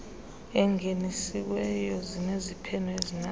engenisiweyo zineziphene ezinazo